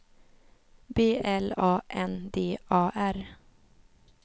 B L A N D A R